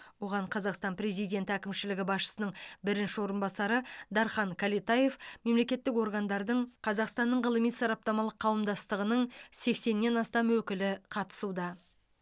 оған қазақстан президенті әкімшілігі басшысының бірінші орынбасары дархан кәлетаев мемлекеттік органдардың қазақстанның ғылыми сараптамалық қауымдастығының сексеннен астам өкілі қатысуда